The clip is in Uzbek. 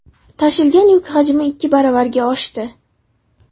Tashilgan yuk hajmi ikki baravarga oshdi.